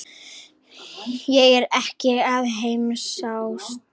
Ég er ekkert að hamast.